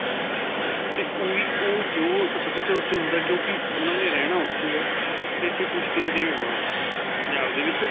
'ਤੇ ਓਹੀ ਓਹ ਜੋ ਸਭਿਆਚਾਰ ਜੋ ਉੱਥੇ ਹੁੰਦਾ ਕਿਉਂਕਿ ਉਨ੍ਹਾਂ ਨੇ ਰਹਿਣਾ ਉੱਥੇ ਆ 'ਤੇ ਇੱਥੇ ਕੁੱਝ ਦੇਰ ਲਈ ਆਉਣਾ ਪੰਜਾਬ ਦੇ ਵਿੱਚ.